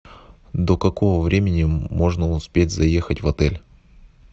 до какого времени можно успеть заехать в отель